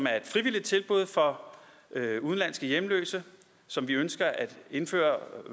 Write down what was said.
af et frivilligt tilbud for udenlandske hjemløse som vi ønsker at indføre